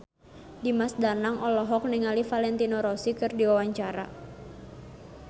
Dimas Danang olohok ningali Valentino Rossi keur diwawancara